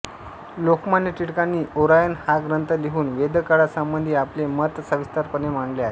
लोकमान्य टिळकांनी ओरायनहा ग्रंथ लिहून वेदकाळासंबंधी आपले मत सविस्तरपणे मांडले आहे